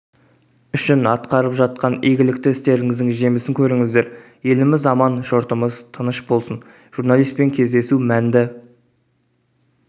үшін атқарып жатқан игілікті істеріңіздің жемісін көріңіздер еліміз аман жұртымыз тыныш болсын журналистпен кездесу мәнді